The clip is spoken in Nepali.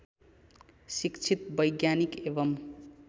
शिक्षित वैज्ञानिक एवं